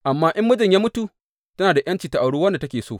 Amma in mijinta ya mutu, tana da ’yanci ta auri wanda take so.